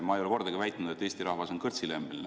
Ma ei ole kordagi väitnud, et Eesti rahvas on kõrtsilembene.